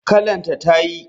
Kallon ta tayi.